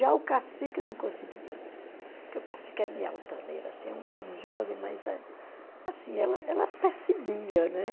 Já o cacique não conseguia, porque o cacique é meio altaneiro, assim é um jovem, mas assim ela ela percebia, né?